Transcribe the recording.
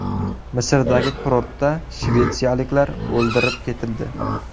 Misrdagi kurortda shvetsiyaliklar o‘ldirib ketildi.